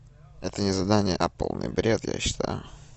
это не задание а полный бред я считаю